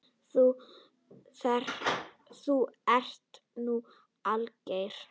Þú ert nú alger!